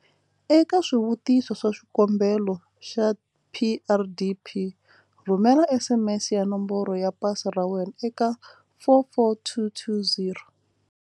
Eka swivutiso swa xikombelo xa PrDP, rhumela SMS ya nomboro ya pasi ra wena eka 44220.